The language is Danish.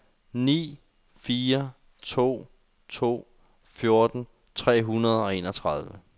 ni fire to to fjorten tre hundrede og enogtredive